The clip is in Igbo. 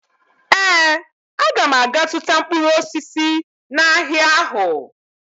Ee, aga m aga zụta mkpụrụ osisi n'ahịa ahụ